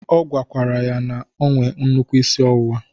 Ọ gwakwara ya na-enwe nnukwu isi ọwụwa.